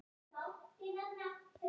Hún horfði í eldinn.